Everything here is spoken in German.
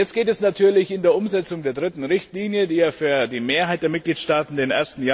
Jetzt geht es natürlich in der Umsetzung der dritten Richtlinie, die ja für die Mehrheit der Mitgliedstaaten den